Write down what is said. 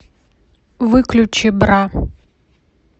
выключи бра